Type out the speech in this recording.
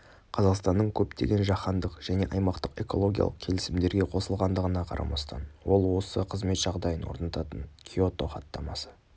қазақстанның көптеген жаһандық және аймақтық экологиялық келісімдерге қосылғандығына қарамастан ол осы қызмет жағдайын орнататын киотоо хаттамасы